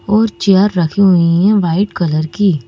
और चेयर रखी हुई हैं वाइट कलर की।